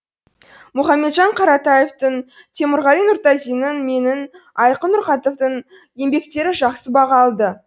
мұхамеджан қаратаевтың темірғали нұртазиннің менің айқын нұрқатовтың еңбектері жақсы баға алды